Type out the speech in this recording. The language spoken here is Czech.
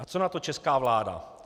A co na to česká vláda?